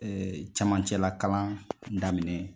camancɛla kalan daminɛ